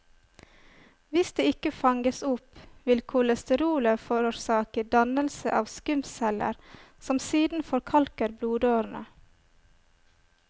Hvis det ikke fanges opp, vil kolesterolet forårsake dannelse av skumceller som siden forkalker blodårene.